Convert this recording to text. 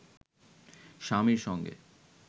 স্বামীর সঙ্গে